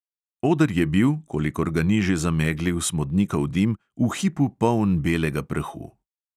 Oder je bil, kolikor ga ni že zameglil smodnikov dim, v hipu poln belega prahu.